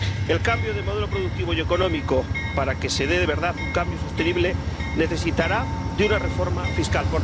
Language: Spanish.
El cambio de modelo productivo y económico, para que se dé de verdad un cambio sostenible, necesitará una reforma fiscal.